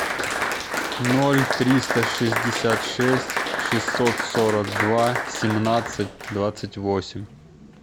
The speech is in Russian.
ноль триста шестьдесят шесть шестьсот сорок два семнадцать двадцать восемь